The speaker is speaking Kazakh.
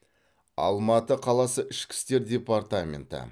алматы қаласы ішкі істер департаменті